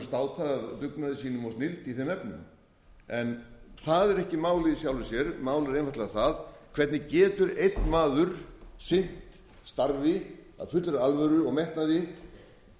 í þeim efnum en það er ekki málið í sjálfu sér málið er einfaldlega það hvernig getur einn maður sinnt starfi af fullri alvöru og metnaði